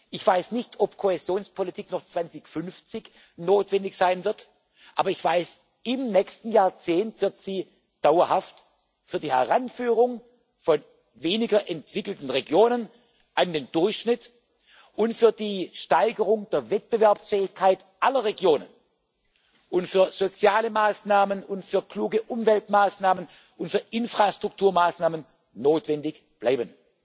Ich weiß nicht, ob Kohäsionspolitik 2050 noch notwendig sein wird, aber ich weiß, im nächsten Jahrzehnt wird sie dauerhaft für die Heranführung von weniger entwickelten Regionen an den Durchschnitt und für die Steigerung der Wettbewerbsfähigkeit aller Regionen sowie für soziale Maßnahmen und für kluge Umweltmaßnahmen und für Infrastrukturmaßnahmen notwendig bleiben.